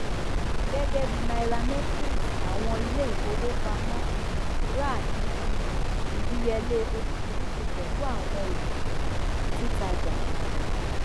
gẹgẹbí nairametrics àwọn iléìfówópamọ um rà ní um ìdíyelé oríṣìríṣi pẹlú àwọn òfin um títàjà